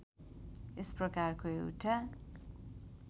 यस प्रकारको एउटा